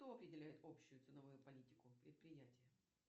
кто определяет общую ценовую политику предприятия